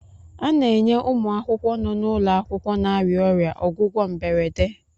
A na-enye ụmụ akwụkwọ nọ n'ụlọ akwụkwọ na-arịa ọrịa ọgwụgwọ mberede.